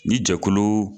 Ni jɛkulu